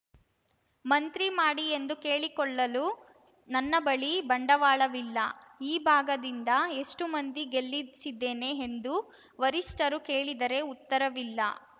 ಮಂತ್ರಿ ಮಾಡಿ ಎಂದು ಕೇಳಿಕೊಳ್ಳಲು ನನ್ನ ಬಳಿ ಬಂಡವಾಳವಿಲ್ಲ ಈ ಭಾಗದಿಂದ ಎಷ್ಟುಮಂದಿ ಗೆಲ್ಲಿಸಿದ್ದೇನೆ ಎಂದು ವರಿಷ್ಠರು ಕೇಳಿದರೆ ಉತ್ತರವಿಲ್ಲ